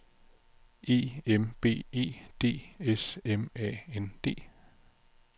E M B E D S M A N D